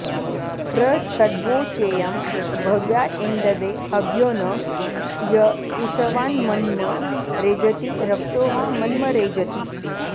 प्र तद्वोचेयं भव्यायेन्दवे हव्यो न य इषवान्मन्म रेजति रक्षोहा मन्म रेजति